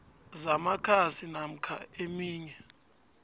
zamakhasi namkha eminye